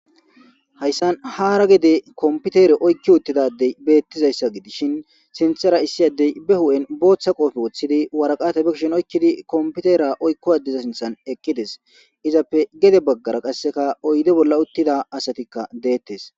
Haysani hara gede computere oyki utida Adey beetizaysa gidishn sinthera issi adeyi bootha qope bo hu'en wothid waraqata be kusheni oykidi Computera oyko adeza sinthan eqides, izappe gede bagara qaseka oyde bolla utida asatika detes.